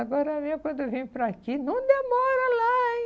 Agora mesmo, quando eu venho para aqui, não demora lá, hein?